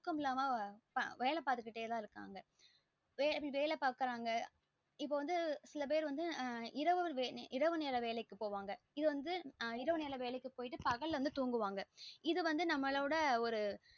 தூக்கம் இல்லாம வேல பாத்துக்கிட்டே இருக்காங்க வேல பாக்றாங்க இப்போ வந்து சில பேர் வந்து அந்த இரவு நேர இரவு நேர வேலைக்கு போவாங்க இத வந்து இரவு நேர வேலைக்கு போய்ட்டு வந்து பகல வந்து துன்குவாங்க இது வந்து நமளோட ஒரு